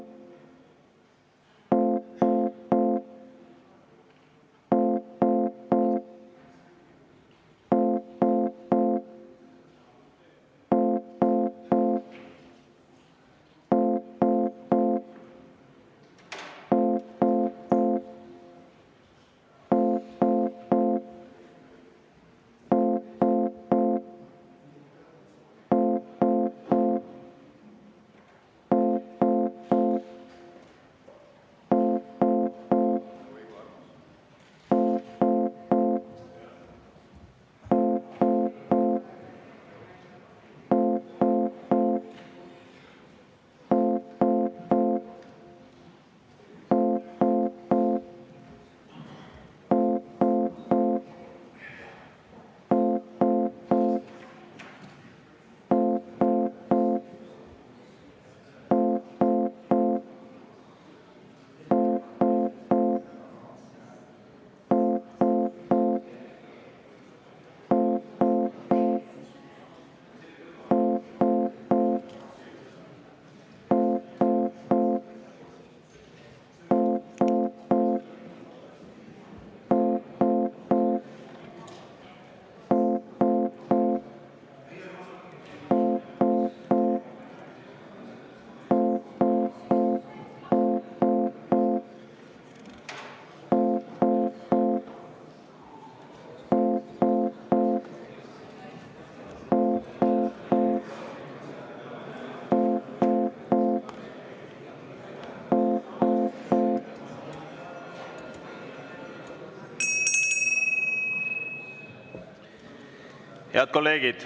Head kolleegid!